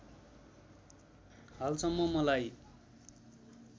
हालसम्म मलाई